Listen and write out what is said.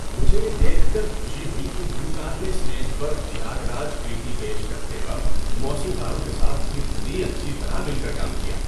مجھے یہ دیکھ کر خوشی ہوئی کہ گلوکار نے اسٹیج پر تھیاگراج کریتی پیش کرتے وقت موسیقاروں کے ساتھ کتنی اچھی طرح مل کر کام کیا۔